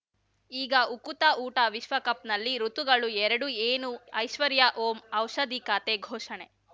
ಈಗ ಉಕುತ ಊಟ ವಿಶ್ವಕಪ್‌ನಲ್ಲಿ ಋತುಗಳು ಎರಡು ಏನು ಐಶ್ವರ್ಯಾ ಓಂ ಔಷಧಿ ಖಾತೆ ಘೋಷಣೆ